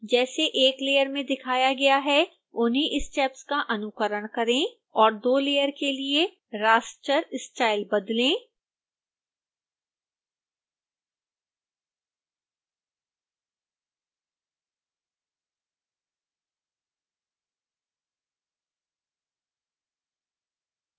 जैसे 1 layer में दिखाया गया है उन्ही स्टेप्स का अनुकरण करें और 2 layer के लिए raster style बदलें